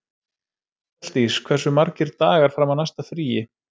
Mjalldís, hversu margir dagar fram að næsta fríi?